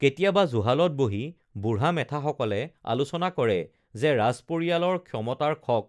কেতিয়াবা জুহালত বহি বুঢ়া মেথাসকলে আলোচনা কৰে যে ৰাজ পৰিয়ালৰ ক্ষমতাৰ খক